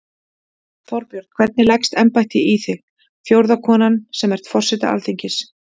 Þorbjörn: Hvernig leggst embættið í þig, fjórða konan sem ert forseti Alþingis?